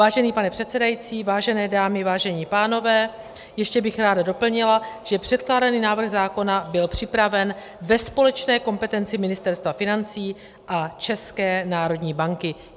Vážený pane předsedající, vážené dámy, vážení pánové, ještě bych ráda doplnila, že předkládaný návrh zákona byl připraven ve společné kompetenci Ministerstva financí a České národní banky.